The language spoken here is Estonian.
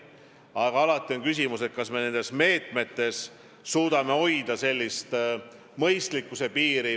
Aga alati on küsimus, kas me meetmeid rakendades suudame hoida mõistlikkuse piiri.